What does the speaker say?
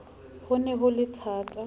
ho ne ho le thata